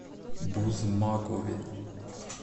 бузмакове